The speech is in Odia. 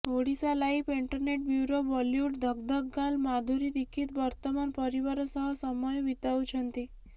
ଓଡ଼ିଶାଲାଇଭ ଏଣ୍ଟରଟେନମେଣ୍ଟ ବ୍ୟୁରୋ ବଲିଉଡ ଧକ ଧକ ଗାର୍ଲ ମାଧୁରୀ ଦୀକ୍ଷିତ ବର୍ତ୍ତମାନ ପରିବାର ସହ ସମୟ ବିତାଉଛନ୍ତି